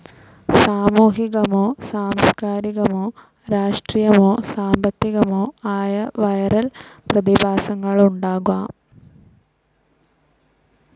സാമൂഹികമോ സാംസ്ക്കാരികമോ രാഷ്ട്രീയമോ സാമ്പത്തികമോ ആയ വിരൽ പ്രതിഭാസങ്ങളുണ്ടാകാം.